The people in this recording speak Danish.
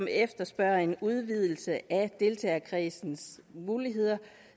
efterspørges en udvidelse af deltagerkredsens muligheder